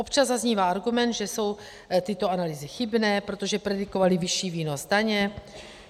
Občas zaznívá argument, že jsou tyto analýzy chybné, protože predikovaly vyšší výnos daně.